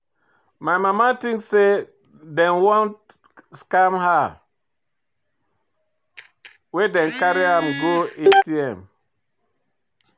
My mama tink sey dem wan scam her wen dem carry her go ATM.